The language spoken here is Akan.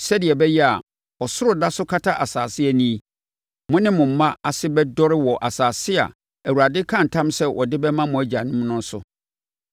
sɛdeɛ ɛbɛyɛ a, ɔsoro da so kata asase ani yi, mo ne mo mma ase bɛdɔre wɔ asase a Awurade kaa ntam sɛ ɔde bɛma mo agyanom no so.